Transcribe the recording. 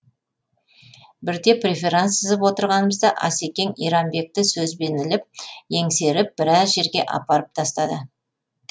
бірде преферанс сызып отырғанымызда асекең иранбекті сөзбен іліп еңсеріп біраз жерге апарып тастады